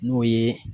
N'o ye